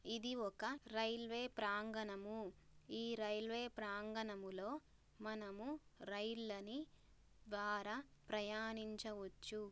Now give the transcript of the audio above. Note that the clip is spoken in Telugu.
ఇది ఒక రైల్వే ప్రాంగణము.ఈ రైల్వే ప్రాంగణంలో మనము రైళ్ల ని ద్ద్వారా ప్రయాణించవచ్చు.